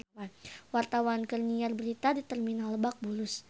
Wartawan keur nyiar berita di Terminal Lebak Bulus